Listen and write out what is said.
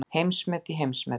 Heimsmet í heimsmetum